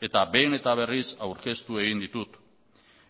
eta behin eta berriz aurkeztu egin ditut